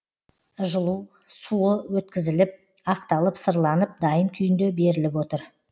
жылу суы өткізіліп ақталып сырланып дайын күйінде беріліп отыр